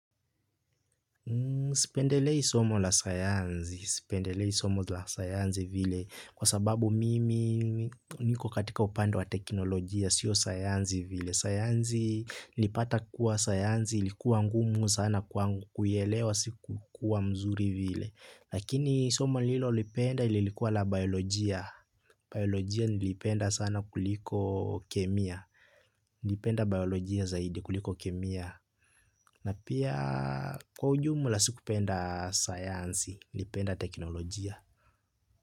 Sipendelei somo la sayansi. Sipendelei somo la sayansi vile kwa sababu mimi niko katika upande wa teknolojia sio sayansi vile. Sayansi, nilipata kuwa sayansi ilikuwa ngumu sana kwangu kuielewa. Sikukua mzuri viile. Lakini soma nililolipenda lilikua la biolojia. Biolojia niljipenda sana kuliko kemia. Nilipenda biolojia zaidi kuliko kemia. Na pia kwa ujumula sikupenda sayansi. Nilipenda teknolojia.